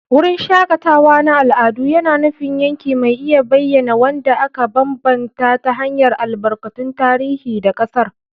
Wurin shakatawa na al'adu yana nufin yanki mai iya bayyana wanda aka bambanta ta hanyar albarkatun tarihi da ƙasar.